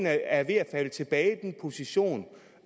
at falde tilbage i den position